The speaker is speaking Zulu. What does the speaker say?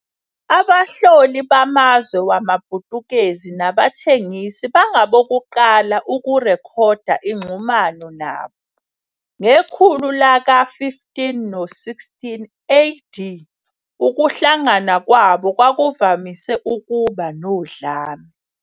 Abahloli bamazwe wamaPutukezi nabathengisi bangabokuqala ukurekhoda inxhumano nabo, ngekhulu laka-15 no-16 A.D. Ukuhlangana kwabo kwakuvamise ukuba nodlame.